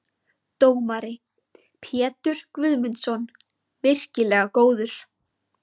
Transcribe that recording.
Dómari: Pétur Guðmundsson- virkilega góður.